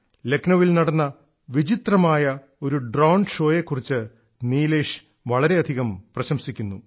ലക്നൌവിൽ നടന്ന വിചിത്രമായ ഒരു ഡ്രോൺ ഷോയെ നീലേഷ് വളരെയധികം പ്രശംസിക്കുന്നു